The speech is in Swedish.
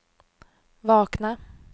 vakna